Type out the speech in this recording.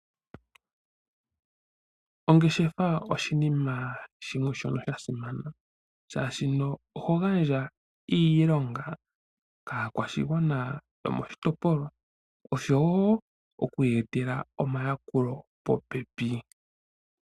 Ongeshefa oshinima shimwe shono sha simana, oshoka oho gandja iilonga kaakwashigwana yomoshitopolwa, oshowo okuya etela omayakulo popepi.